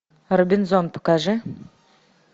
робинзон покажи